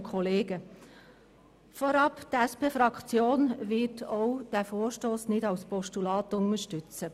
Die SP-Fraktion wird diesen Vorstoss auch nicht als Postulat unterstützen.